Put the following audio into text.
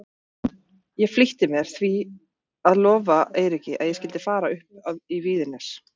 Ég flýtti mér því að lofa Eiríki að ég skyldi fara upp í Víðines.